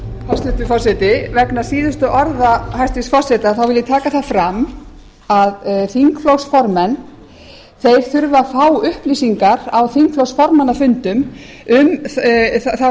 hæstvirtur forseti vegna síðustu orða hæstvirts forseta vil ég taka það fram að þingflokksformenn þurfa að fá upplýsingar á þingflokksformannafundum um þá